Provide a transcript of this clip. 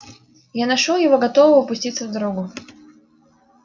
я нашёл его готового пуститься в дорогу